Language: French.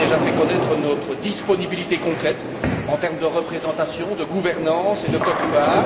Nous avons déjà fait connaître notre disponibilité concrète, en termes de représentation, de gouvernance et de quote part.